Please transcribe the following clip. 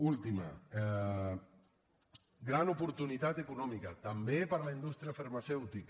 última gran oportunitat econòmica també per a la indústria farmacèutica